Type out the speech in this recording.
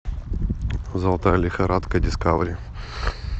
золотая лихорадка дискавери